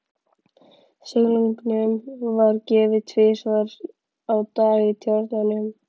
Silungnum var gefið tvisvar á dag í tjörnunum.